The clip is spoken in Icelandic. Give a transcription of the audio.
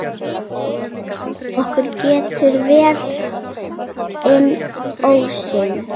Okkur gekk vel inn ósinn.